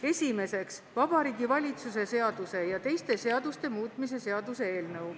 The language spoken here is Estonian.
Esiteks, Vabariigi Valitsuse seaduse ja teiste seaduste muutmise seaduse eelnõu.